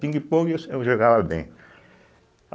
Pingue-pongue eu jogava bem.